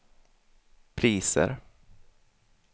priser